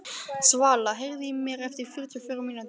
Svala, heyrðu í mér eftir fjörutíu og fjórar mínútur.